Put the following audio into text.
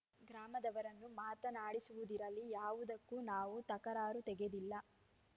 ಗ್ರಾಮದವರನ್ನು ಮಾತನಾಡಿಸುವುದಿರಲಿ ಯಾವುದಕ್ಕೂ ನಾವು ತಕರಾರು ತೆಗೆದಿಲ್ಲ